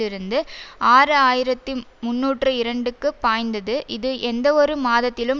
இருந்து ஆறு ஆயிரத்தி முன்னூற்று இரண்டுக்கு பாய்ந்தது இது எந்தவொரு மாதத்திலும்